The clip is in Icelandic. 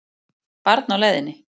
Barn á leiðinni